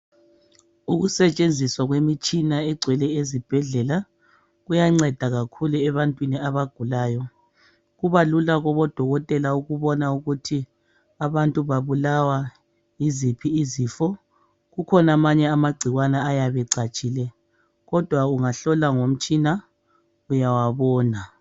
Ukusetshenziswa kwemitshina egcwele ezibhedlela kuyanceda kakhulu ebantwini abagulayo kuba lula kubo dokotela ukubona ukuthi abantu babulawa yiziphi izifo ,kukhona amanye amagcikwane ayabe echatshile kodwa ungahlola ngomtshina uyawabona.